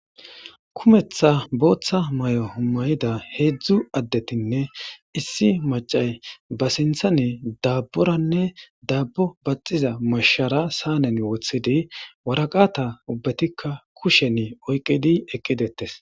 Kumetha bootha mayo mayida hedzu addetinne issi maccay ba sinthani daaboranne daabo baxxiza mashara saaneni wothidi waraqata ubbatika kushen oykidi eqqi deetes.